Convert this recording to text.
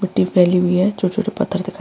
मिट्टी फैली हुई है छोटे-छोटे पत्थर दिखाई --